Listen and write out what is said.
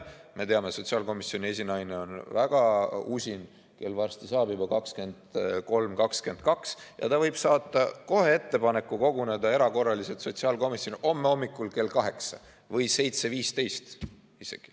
Me teame, et sotsiaalkomisjoni esinaine on väga usin, kell saab juba varsti 23.22, ja ta võib saata kohe ettepaneku sotsiaalkomisjonile koguneda erakorraliselt homme hommikul kell kaheksa või isegi 7.15.